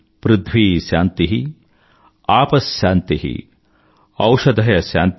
పృథ్వీ శాంతి ఆప శాంతి ఔపథయ శాంతి